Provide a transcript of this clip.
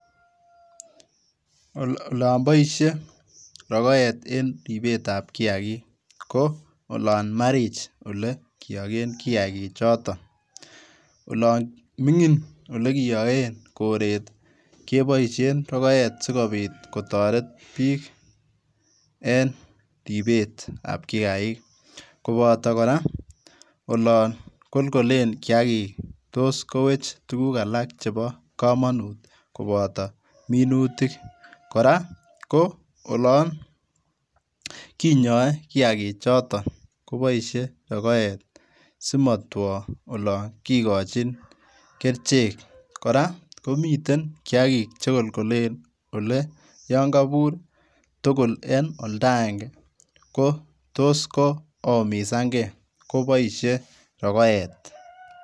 Olon boisie rogoet en ribetab kiakik koo olon marich ole kiogen kiakichoton olon mingin olekiyogen koret keboisien rogoet sikobit kotoret bik en ribetab kiakik koboto koraa olon kolkolen kiakik tos kowech tuguk alak chebo komonut koboto minutik koraa ko olon kinyoe kiakichoton koboisie rogoet simotwo olon kikochin kerichek koraa komiten kiakik chekolkolen ole yon kobur tugul en oldaenge kotos koumisanngee koboisie rogoet.